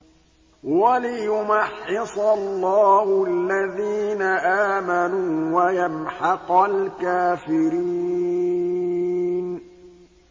وَلِيُمَحِّصَ اللَّهُ الَّذِينَ آمَنُوا وَيَمْحَقَ الْكَافِرِينَ